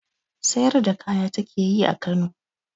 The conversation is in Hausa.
Sayar da kaya ta ke yi a Kano.